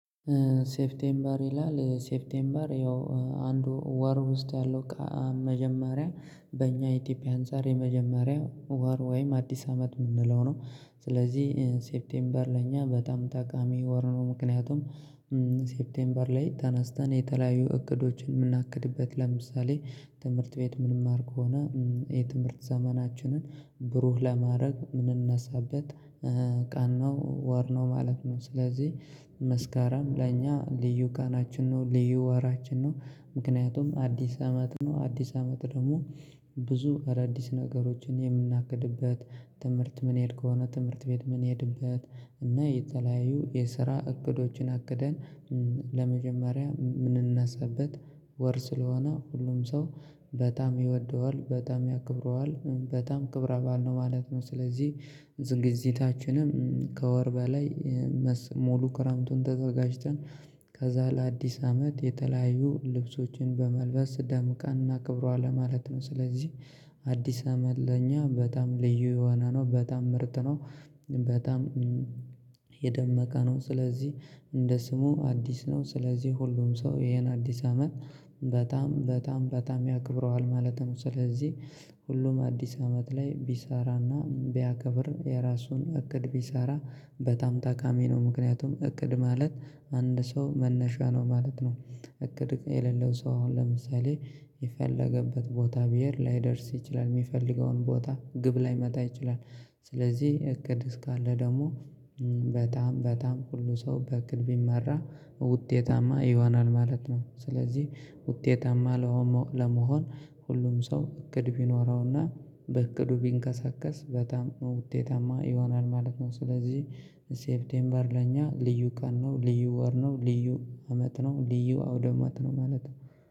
ሴፍቴምበር ይላል ሴፍቴምበር ያው አንዱ ወር ውስጥ ያለው መጀመሪያ በእኛ ኢትዮጵያ አንፃር የመጀመሪያው ወር ወይም አዲስ አመት የምንለው ነው። ስለዚህ ሴፕቴምበር ለእኛ በጣም ጠቃሚ ወር ነው። ምክንያቱም ሴፕቴምበር ላይ ተነስተን የተለያዩ እቅዶችን የምናቅድበት ለምሳሌ ትምህርት ቤት ምንማር ከሆነ የትምህርት ዘመናችንን ብሩህ ለማድረግ ምንነሳበት ቀን ነው ወር ነው ማለት ነው። ስለዚህ መስካረም ለእኛ ልዩ ቀናችን ነው ልዩ ወራችን ነው። ምክንያቱም አዲስ አመት ነው። አዲስ አመት ደግሞ ብዙ አዳዲስ ነገሮችን የምናገድበት። ትምህርት ምንሄድ ከሆነ ትምህርት ቤት ምን ሄድበት እና የተለያዩ የስራ እቅዶችን አግደን። ለመጀመሪያ የምንነሳበት ወር ስለሆነ ሁሉም ሰው በጣም ይወደዋል በጣም ያክብረዋል በጣም ክብረ ባዓል ነው ማለት ነው። ስለዚህ ዝግጅታችንም ከወር በላይ ሙሉ ክረምቱን ተዘጋጅተን ከዛ ለአዲስ አመት የተለያዩ ልብሶችን በመልበስ ደምቀና እናከብረዋለን ለማለት ነው። ስለዚህ አዲስ አመት ለኛ በጣም ልዩ የሆነ ነው በጣም ምርት ነው። በጣም የደመቀ ነው። ስለዚህ እንደ ስሙ አዲስ ነው ስለዚህ ሁሉም ሰው ይሄን አዲስ አመት በጣም በጣም በጣም ያከብረዋል ማለት ነው። ስለዚህ ሁሉም አዲስ አመት ላይ ቢሰራና ቢያከብር የራሱን እቅድ ቢሰራ በጣም ጠቃሚ ነው። ምክንያቱም እቅድ ማለት አንድ ሰው መነሻ ነው ማለት ነው። እቅድ የሌለው ሰው አሁን ለምሳሌ የፈለገበት ቦታ ብሄር ላይደርስ ይችላል የሚፈልገውን ቦታ ግብ ላይመታ ይችላል። ስለዚህ እቅድ እስካለ ደግሞ በጣም ሁሉ ሰው በእቅድ ቢመራ ውጤታማ ይሆናል ማለት ነው። ስለዚህ ውጤታማ ለመሆን ሁሉም ሰው እቅድ ቢኖረውና በእቅዱ ቢንቀሳቀስ በጣም ውጤታማ ይሆናል ማለት ነው። ስለዚህ ሴፕቴምበር ለእኛ ልዩ ቀን ነው ልዩ ወር ነው ልዩ አመት ነው ልዩ አውዳመት ነው ማለት ነው።